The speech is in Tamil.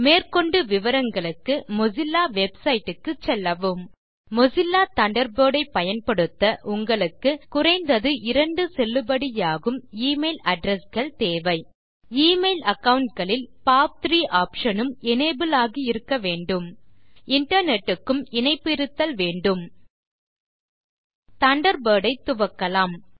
மேற்கொண்டு விவரங்காளுக்கு மொசில்லா வெப்சைட் க்கு செல்லவும் மொசில்லா தண்டர்பர்ட் ஐ பயன்படுத்த உங்களுக்கு குறைந்தது செல்லுபடியாகும் எமெயில் அட்ரெஸ் கள் தேவை எமெயில் அகாவுண்ட் களில் பாப்3 ஆப்ஷன் உம் எனபிள் ஆகி இருக்கவேண்டும் இன்டர்நெட் க்கும் இணைப்பு இருத்தல் வேண்டும் தண்டர்பர்ட் ஐ துவக்கலாம்